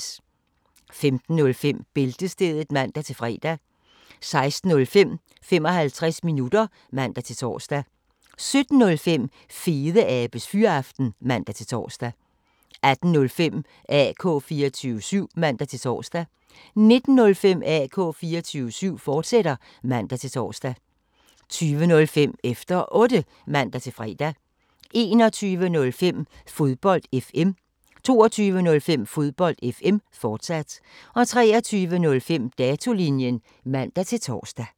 15:05: Bæltestedet (man-fre) 16:05: 55 minutter (man-tor) 17:05: Fedeabes Fyraften (man-tor) 18:05: AK 24syv (man-tor) 19:05: AK 24syv, fortsat (man-tor) 20:05: Efter Otte (man-fre) 21:05: Fodbold FM 22:05: Fodbold FM, fortsat 23:05: Datolinjen (man-tor)